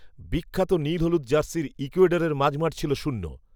বিখ্যাত নীল হলুদ জার্সির ইকুয়েডরের মাঝমাঠ ছিল শূন্য